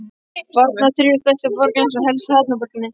Varna, þriðju stærstu borg landsins og helstu hafnarborginni.